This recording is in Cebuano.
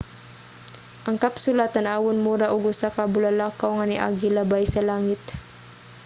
ang kapsula tan-awon mura og usa ka bulalakaw nga niagi labay sa langit